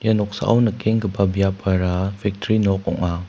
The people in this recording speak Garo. noksao nikenggipa biapara fectri nok ong·a.